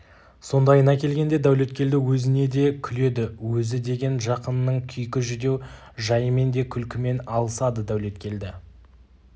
сондайына келгенде дәулеткелді өзіне де күледі өзі деген жақынының күйкі жүдеу жайымен де күлкімен алысады дәулеткелді